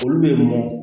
Olu bɛ mɔ